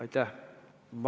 Aitäh!